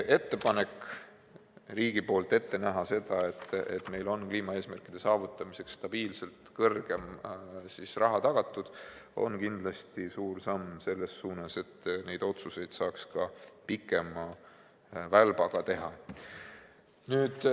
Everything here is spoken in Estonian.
Ettepanek näha riigi poolt ette see, et meil on kliimaeesmärkide saavutamiseks tagatud stabiilselt rohkem raha, on kindlasti suur samm selles suunas, et neid otsuseid saaks teha pikema välbaga.